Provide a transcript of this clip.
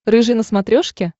рыжий на смотрешке